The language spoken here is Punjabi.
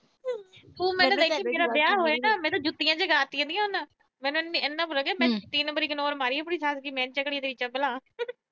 ਤੂੰ ਦੇਖੀ ਹੁਣ ਵਿਆਹ ਹੋਇਆ ਨਾ ਮੈਂ ਤਾਂ ਜੁੱਤੀਆਂ ਚਕਾ ਤੀਆ ਥਾ ਹੁਣ। ਮੈਨੂੰ ਇੰਨਾ ਪਤਾ ਮੈਂ ਇਗਨੋਰ ਮਾਰੀ ਆਪਣੀ ਸੱਸ ਦੀ ਭਲਾ।